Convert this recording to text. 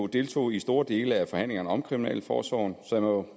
deltog i store dele af forhandlingerne om kriminalforsorgen og så må